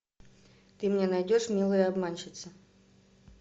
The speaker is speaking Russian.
ты мне найдешь милые обманщицы